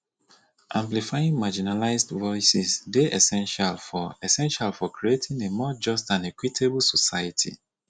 amplifying marginalized voices dey essential for essential for creating a more just and equitable society